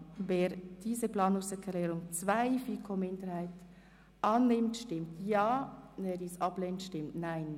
Wer diese Planungserklärung annimmt, stimmt Ja, wer dies ablehnt, stimmt Nein.